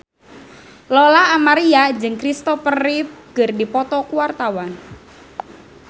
Lola Amaria jeung Christopher Reeve keur dipoto ku wartawan